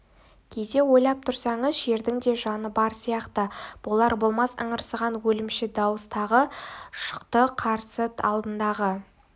кейде ойлап тұрсаңыз жердің де жаны бар сияқты болар-болмас ыңырсыған өлімші дауыс тағы шықты қарсы алдындағы